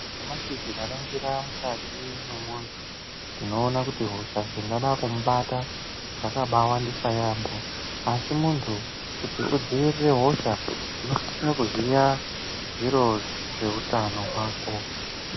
Nyamashi tikaningira mukati mwemundu tinoona kuti hosha dzingada kukubata ,dzakambaa wandisa yambo asi muntu kuti kudzivirire hosha , unosisa kuziya zviro zveutano hwako.